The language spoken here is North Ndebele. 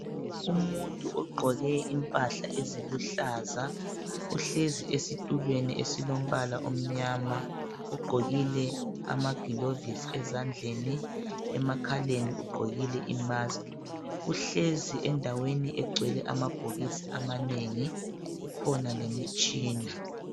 Umuntu ogqoke impahla eziluhlaza uhlezi esitulweni esilombala omyama ugqokile amaglovisi ezandleni emakhaleni ugqokile imaski uhlezi endaweni egcwele amabhokisi amanengi kukhona lemitshina